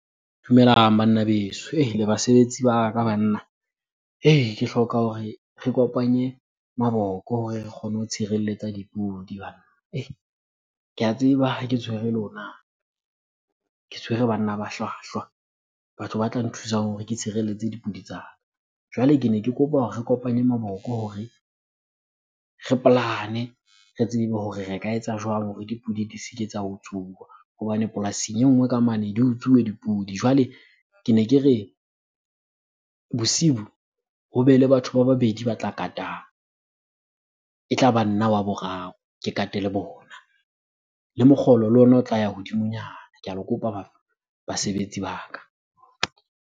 Dumelang banna beso, le basebetsi ba ka banna . Ke hloka hore re kopanye maboko hore re kgone ho tshireletsa dipudi banna . Ke a tseba ha ke tshwere lona ke tshwere banna ba hlwahlwa, batho ba tla nthusang hore ke tshireletse dipudi tsa ka. Jwale kene ke kopa hore re kopanye maboko hore re plan-e, re tsebe hore re ka etsa jwang hore dipudi di se ke tsa utsuwa? Hobane polasing e nngwe ka mane di utsuwe dipudi. Jwale kene ke re, bosibu hobe le batho ba babedi ba tla katang, e tlaba nna wa boraro ke kate le bona. Le mokgolo le ona o tla ya hodimonyana. Ke a le kopa basebetsi ba ka.